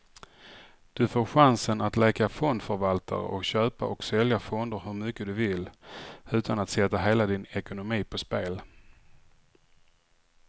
Du får chansen att leka fondförvaltare och köpa och sälja fonder hur mycket du vill, utan att sätta hela din ekonomi på spel.